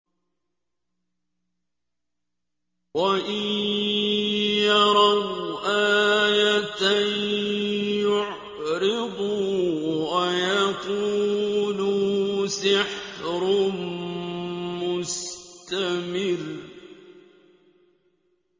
وَإِن يَرَوْا آيَةً يُعْرِضُوا وَيَقُولُوا سِحْرٌ مُّسْتَمِرٌّ